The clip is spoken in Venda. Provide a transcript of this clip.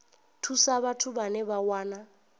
thusa vhathu vhane vha wana